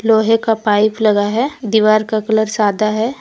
लोहे का पाइप लगा है दीवार का कलर सादा है।